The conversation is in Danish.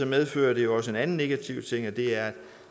medfører det jo også en anden negativ ting og det er at